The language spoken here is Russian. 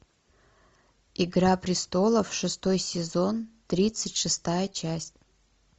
игра престолов шестой сезон тридцать шестая часть